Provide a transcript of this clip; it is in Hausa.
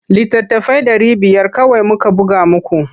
Littattafai ɗari biyar kawai muka buga muku.